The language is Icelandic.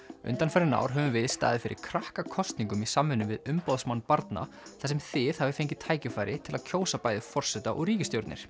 undanfarin ár höfum við staðið fyrir krakkakosningum í samvinnu við umboðsmann barna þar sem þið hafið fengið tækifæri til að kjósa bæði forseta og ríkisstjórnir